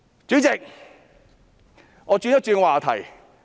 主席，我轉一轉話題。